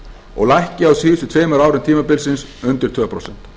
og lækki á síðustu tveimur árum tímabilsins undir tvö prósent